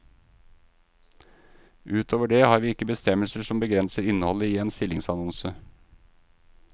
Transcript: Utover det har vi ikke bestemmelser som begrenser innholdet i en stillingsannonse.